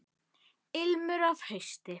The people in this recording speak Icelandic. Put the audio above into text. Ilmur af hausti!